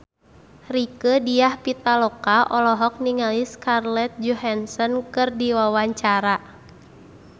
Rieke Diah Pitaloka olohok ningali Scarlett Johansson keur diwawancara